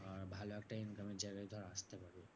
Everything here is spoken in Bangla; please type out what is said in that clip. আর ভালো একটা income এর জায়গায় ধর আসতে পারবি।